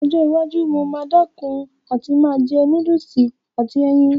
Ní ọjọ́ iwájú, mo máa dẹ̀kun àti máa jẹ núdùsì àti ẹyin